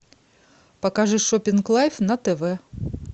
покажи шопинг лайв на тв